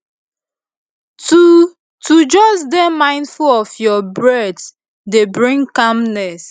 to to just dey mindful of your breath dey bring calmness